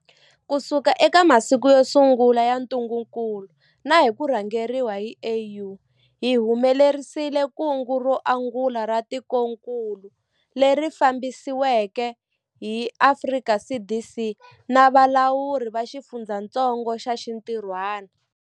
Kusuka eka masiku yo sungula ya ntungukulu na hi ku rhangeriwa hi AU, hi humelerisile kungu ro angula ra tikokulu, leri fambisiweke hi Afrika CDC na valawuri va xifundzatsongo va xintirhwana.